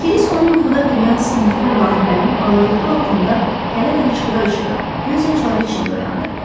Krisk onu yuxuda bürüyən sıxıntı və vahimənin ağırlığı altında hələ də hıçqıra-hıçqıra, gözyaşları içində oyandı.